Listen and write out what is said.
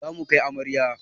Mu zamu kai amaryar